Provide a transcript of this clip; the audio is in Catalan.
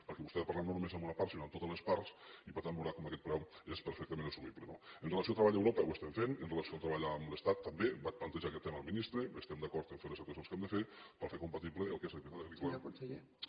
perquè vostè ha de parlar no només amb una part sinó amb totes les parts i per tant veurà com aquest preu és perfectament assumible no amb relació a treball a europa ho estem fent amb relació al treball amb l’estat també vaig plantejar aquest tema al ministre estem d’acord a fer les actuacions que hem de fer per fer compatible el que és l’activitat agrícola amb